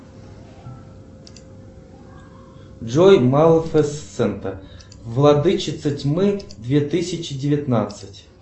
джой малифисента владычица тьмы две тысячи девятнадцать